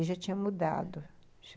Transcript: E já tinha mudado.